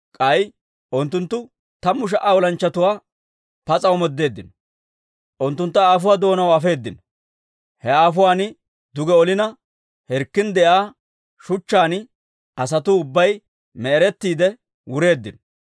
K'ay unttunttu tammu sha"a olanchchatuwaa pas'a omoodeeddino; unttuntta aafuwaa doonaw afeedino; he aafuwan duge olina, hirkkin de'iyaa shuchchaan asatuu ubbay me'erettiide wureeddino.